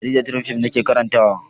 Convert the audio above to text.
Jaridar Triumph nake karantawa.